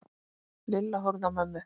Lilla horfði á mömmu.